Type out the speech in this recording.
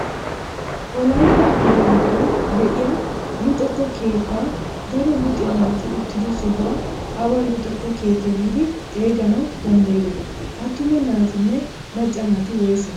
Wolaytta ambbaa giddon de'iyaa luxetta keettaa daro luxiyaa naati uttido sohuwaa awa luxetta keettaa giidi xeeganawu danddayiyoo? attuma naatinne macca naati woysee?